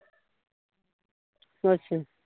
ਅੱਛਾ